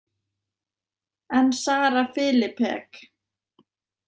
En Sara Filipek?